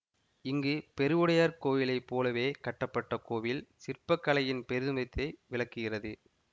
இங்கு பெருவுடையார்க் கோவிலைப் போலவே கட்டப்பட்ட கோவில் சிற்பக்கலையின் பெருமிதத்தை விளக்குகிறது